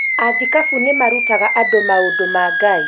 Athikabu nĩ marutaga andũ maũndũ ma Ngai